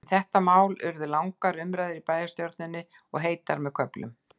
Um mál þetta urðu langar umræður í bæjarstjórninni, og heitar með köflum.